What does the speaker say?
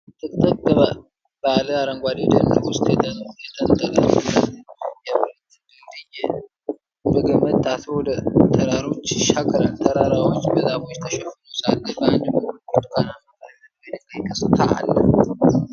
በጥቅጥቅ ባለ አረንጓዴ ደን ውስጥ የተንጠለጠለ የብረት ድልድይ በገመድ ታስሮ ወደ ተራሮች ይሻገራል። ተራራዎቹ በዛፎች ተሸፍነው ሳለ፣ በአንድ በኩል ብርቱካናማ ቀለም ያለው የድንጋይ ገጽታ አለ።